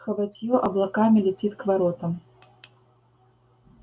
хоботьё облаками летит к воротам